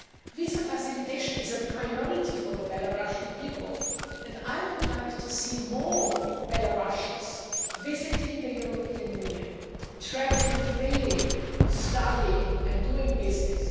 Visa facilitation is a priority for the Belarusian people, and I would like to see more Belarusians visiting the European Union, travelling freely, studying and doing business.